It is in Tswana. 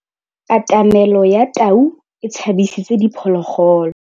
Katamêlô ya tau e tshabisitse diphôlôgôlô.